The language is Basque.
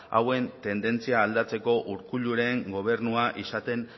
hauen tendentzia aldatzeko urkulluren gobernua izaten